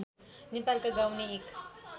नेपालका गाउने एक